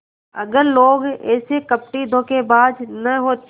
अगर लोग ऐसे कपटीधोखेबाज न होते